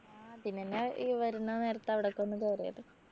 ആഹ് അതിനെന്നെ ഈ വരുന്ന നേരത്തു അവിടൊക്കെ ഒന്ന് കേറിയത്